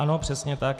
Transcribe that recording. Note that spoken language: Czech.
Ano, přesně tak.